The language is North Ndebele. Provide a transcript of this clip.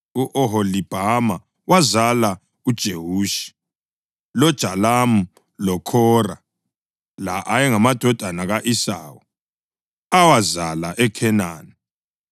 u-Oholibhama wazala uJewushi, loJalamu loKhora. La ayengamadodana ka-Esawu, awazala eKhenani.